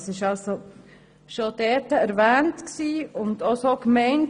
Das wurde also dort bereits erwähnt und war auch so gemeint.